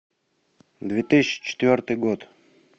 две тысячи четвертый год